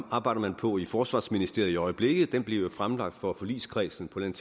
arbejder man på i forsvarsministeriet i øjeblikket og det bliver fremlagt for forligskredsen på et